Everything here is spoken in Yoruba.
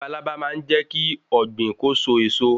labalábá máa n jékí Ògbìn kó so èso